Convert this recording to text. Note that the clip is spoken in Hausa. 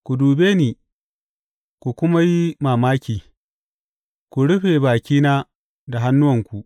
Ku dube ni, ku kuma yi mamaki; ku rufe bakina da hannunku.